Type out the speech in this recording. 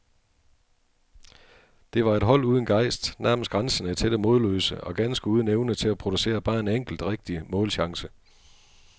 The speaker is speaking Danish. Det var et hold uden gejst, nærmest grænsende til det modløse, og ganske uden evne til at producere bare en enkelt, rigtig målchance.